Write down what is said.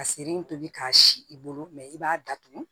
Ka sere in tobi k'a si i bolo mɛ i b'a datugu